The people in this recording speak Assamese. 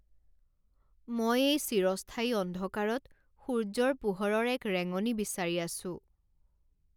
মই এই চিৰস্থায়ী অন্ধকাৰত সূৰ্য্যৰ পোহৰৰ এক ৰেঙনি বিচাৰি আছোঁ।